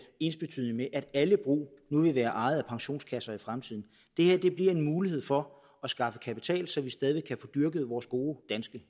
ensbetydende med at alle brug nu vil være ejet af pensionskasser i fremtiden det her bliver en mulighed for at skaffe kapital så vi stadig væk kan få dyrket vores gode danske